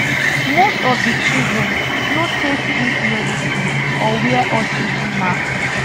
most of di children no take sleep medicine or wear oxygen masks